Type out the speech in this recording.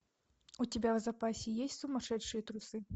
у тебя в запасе есть сумасшедшие трусы